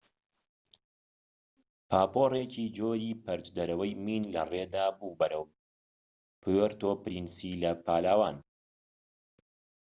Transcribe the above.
پاپۆرێکی جۆری پەرچدەرەوەی مین لەڕێدا بوو بەرەو پوێرتۆ پرینسی لە پالاوان